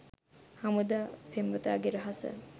හමුදා පෙම්වතාගේ රහස